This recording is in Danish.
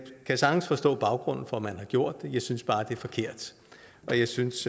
kan sagtens forstå baggrunden for at man har gjort det jeg synes bare det er forkert og jeg synes